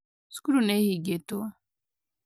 Cukuru nĩ ihingĩtwo